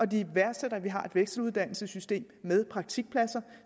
de værdsætter at vi har et vekseluddannelsessystem med praktikpladser